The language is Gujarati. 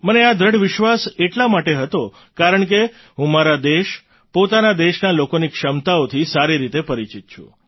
મને આ દૃઢ વિશ્વાસ એટલા માટે હતો કારણકે હું મારા દેશ પોતાના દેશના લોકોની ક્ષમતાઓથી સારી રીતે પરિચિત છું